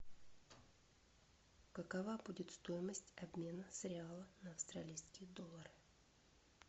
какова будет стоимость обмена с реала на австралийские доллары